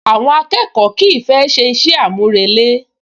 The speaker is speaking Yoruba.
Àwọn akẹ́kọ̀ọ́ kìí fẹ́ ṣe iṣẹ́ àmúrelé